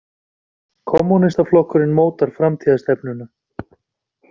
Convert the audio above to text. Kommúnistaflokkurinn mótar framtíðarstefnuna